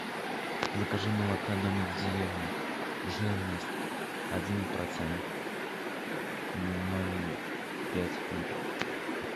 закажи молока домик в деревне жирность один процент ноль пять литров